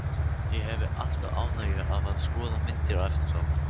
Ég hefi alltaf ánægju af að skoða myndir eftir þá.